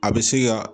A bɛ se ka